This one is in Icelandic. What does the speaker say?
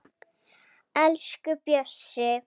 Elsku Bjössi